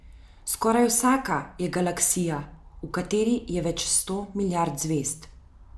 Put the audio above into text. Skoraj vsaka je galaksija, v kateri je več sto milijard zvezd.